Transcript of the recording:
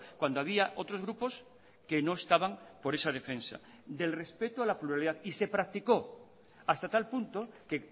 cuando había otros grupos que no estaban por esa defensa del respeto a la pluralidad y se practicó hasta tal punto que